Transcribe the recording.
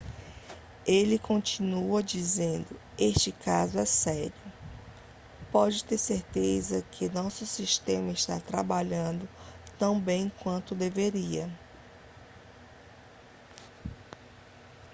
ele continuou dizendo este caso é sério pode ter certeza de que nosso sistema está trabalhando tão bem quanto deveria